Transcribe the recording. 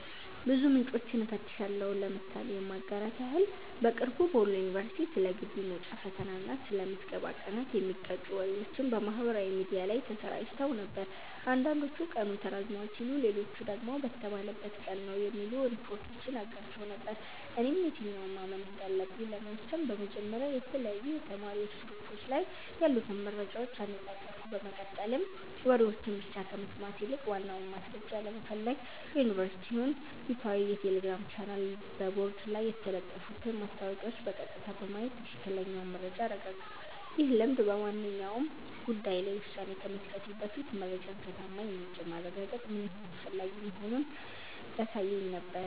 ብዙ ምንጮችን እፈትሻለሁ። ምሳሌ ለማጋራት ያህል፦ በቅርቡ በወሎ ዩኒቨርሲቲ ስለ ግቢ መውጫ ፈተና እና ስለ ምዝገባ ቀናት የሚጋጩ ወሬዎች በማህበራዊ ሚዲያ ላይ ተሰራጭተው ነበር። አንዳንዶች ቀኑ ተራዝሟል ሲሉ፣ ሌሎች ደግሞ በተባለበት ቀን ነው የሚሉ ሪፖርቶችን አጋርተው ነበር። እኔም የትኛውን ማመን እንዳለብኝ ለመወሰን በመጀመሪያ የተለያዩ የተማሪዎች ግሩፖች ላይ ያሉትን መረጃዎች አነጻጸርኩ፤ በመቀጠልም ወሬዎችን ብቻ ከመስማት ይልቅ ዋናውን ማስረጃ ለመፈለግ የዩኒቨርሲቲውን ይፋዊ የቴሌግራም ቻናልና በቦርድ ላይ የተለጠፉትን ማስታወቂያዎች በቀጥታ በማየት ትክክለኛውን መረጃ አረጋገጥኩ። ይህ ልምድ በማንኛውም ጉዳይ ላይ ውሳኔ ከመስጠቴ በፊት መረጃን ከታማኝ ምንጭ ማረጋገጥ ምን ያህል አስፈላጊ መሆኑን ያሳየኝ ነበር።